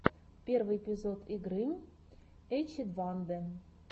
первый эпизод игры эчедвадэ